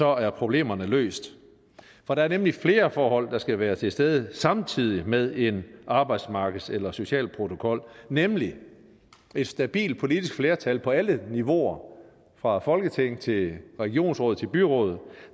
er problemerne løst for der er nemlig flere forhold der skal være til stede samtidig med en arbejdsmarkeds eller social protokol nemlig et stabilt politisk flertal på alle niveauer fra folketing til regionsråd til byråd